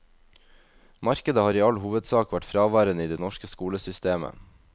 Markedet har i all hovedsak vært fraværende i det norske skolesystemet.